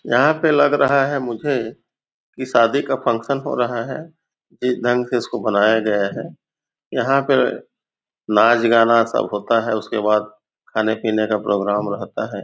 यहाँ पे लग रहा है मुझे की शादी का फंक्शन हो रहा है इस ढंग से इसको बनाया गया है यहाँ पे नाच गाना सब होता है उसके बाद खाने पीने का प्रोग्राम रहता है।